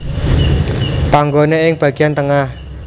Panggone ing bagian tengah